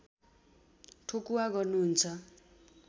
ठोकुवा गर्नुहुन्छ